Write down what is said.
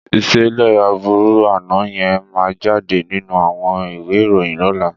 Ìṣẹ̀lẹ̀ aburu àná yẹn máa jáde nínú àwọn ìwé ìròyìn lọ́la.